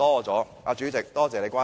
主席，多謝你關心。